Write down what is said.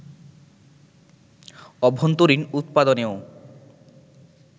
অভ্যন্তরীন উৎপাদনেও